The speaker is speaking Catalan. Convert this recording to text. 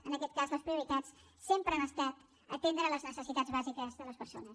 en aquest cas les prioritats sempre han estat atendre les necessitats bàsiques de les persones